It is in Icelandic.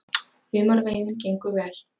Humarveiðin gengur vel